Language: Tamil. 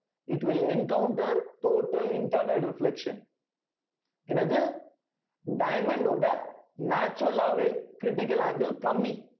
it will encounter total internal reflection என்னது diamond டோட natural ஆவே critical angle கம்மி